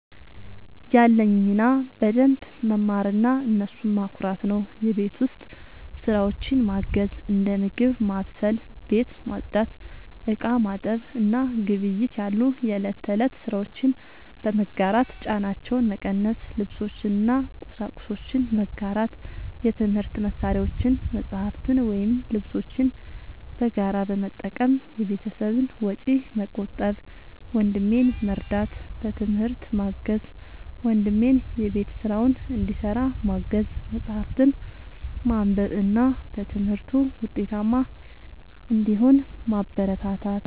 ያለኝ ሚና በደንብ መማርና እነሱን ማኩራት ነው። የቤት ውስጥ ስራዎችን ማገዝ፦ እንደ ምግብ ማብሰል፣ ቤት ማጽዳት፣ ዕቃ ማጠብ እና ግብይት ያሉ የእለት ተእለት ስራዎችን በመጋራት ጫናቸውን መቀነስ። ልብሶችን እና ቁሳቁሶችን መጋራት፦ የትምህርት መሳሪያዎችን፣ መጽሐፍትን ወይም ልብሶችን በጋራ በመጠቀም የቤተሰብን ወጪ መቆጠብ። ወንድሜን መርዳት፦ በትምህርት ማገዝ፦ ወንድሜን የቤት ስራውን እንዲሰራ ማገዝ፣ መጽሐፍትን ማንበብ እና በትምህርቱ ውጤታማ እንዲሆን ማበረታታት።